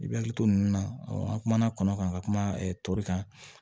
I bɛ hakili to nin na an kumana kɔnɔ kan ka kuma tɔli kan